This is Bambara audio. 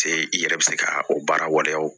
Se i yɛrɛ bɛ se ka o baara waleyaw